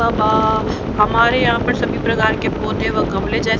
हमारे यहां पर सभी प्रकार के पौधे व गमले जैसे--